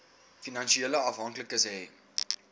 finansiële afhanklikes hê